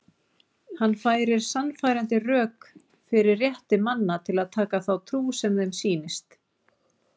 Hann færir sannfærandi rök fyrir rétti manna til að taka þá trú sem þeim sýnist.